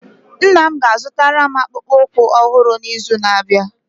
Nna m ga-azụtara m akpụkpọ ụkwụ ọhụrụ n'izu na-abịa